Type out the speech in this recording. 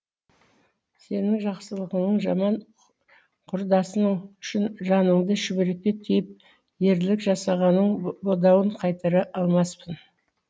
сенің жақсылығыңның жаман құрдасының үшін жаныңды шүберекке түйіп ерлік жасағаныңның бодауын қайтара алмаспын